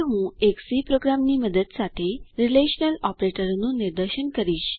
હવે હું એક સી પ્રોગ્રામની મદદ સાથે રીલેશનલ ઓપરેટરોનું નિદર્શન કરીશ